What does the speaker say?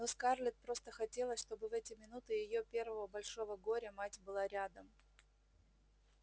но скарлетт просто хотелось чтобы в эти минуты её первого большого горя мать была рядом